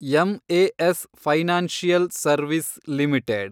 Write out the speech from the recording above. MAS financial service limited